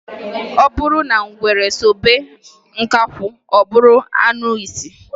Ọ bụrụ na ngwere sobe nkakwụ ọ bụrụ anụisi.